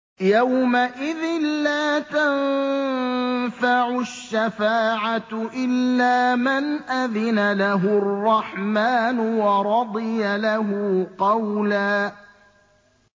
يَوْمَئِذٍ لَّا تَنفَعُ الشَّفَاعَةُ إِلَّا مَنْ أَذِنَ لَهُ الرَّحْمَٰنُ وَرَضِيَ لَهُ قَوْلًا